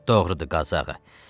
Doğrudur, Qazı ağa.